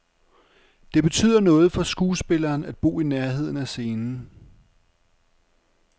Det betyder noget for skuespilleren at bo i nærheden af scenen.